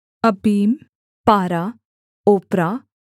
अब्बीम पारा ओप्रा